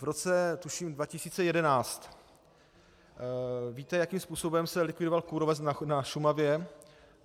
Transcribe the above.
V roce tuším 2011, víte, jakým způsobem se likvidoval kůrovec na Šumavě?